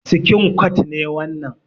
Sikin kwat ne wannan.